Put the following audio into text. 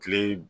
Kile